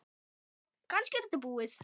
Já, kannski var þetta búið.